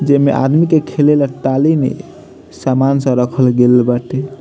जेमें आदमी के खेले ला टाली में सामान सब रखल गेल बाटे।